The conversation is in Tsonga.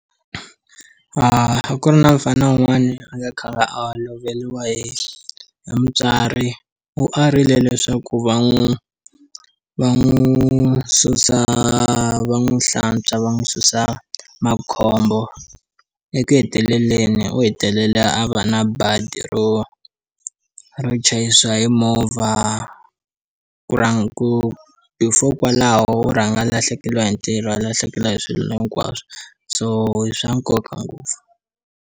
A ku ri na mufana wun'wana a kha a nga a loveriwa hi hi mutswari u a rile leswaku va n'wi va n'wi susa va n'wi hlantswa va n'wi susa makhombo eku heteleleni u hetelela a va na badi ro rpchayisiwa hi movha ku ra ku before kwalaho rhanga lahlekeriwa hi ntirho a lahlekeriwa hi swilo hinkwaswo so i swa nkoka ngopfu.